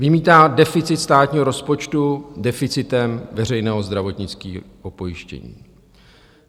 Vymítá deficit státního rozpočtu deficitem veřejného zdravotního pojištění.